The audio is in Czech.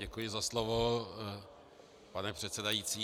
Děkuji za slovo, pane předsedající.